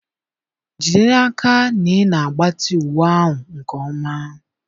Jide n'aka na ị na-agbatị uwe ahụ nke ọma.